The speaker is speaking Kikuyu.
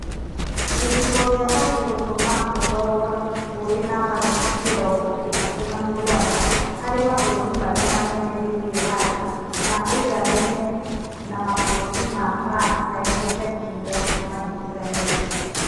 Gĩcigo kĩa Turkey gĩtũmaga ũkorwo ũrĩ namba mĩrongo ĩtatũ na mũgwanja [37 ] harĩ mabũrũri marĩa manene thĩinĩ wa thĩ, na ũiganaine na mabũrũri ma France na United Kingdom manyitithanĩtio.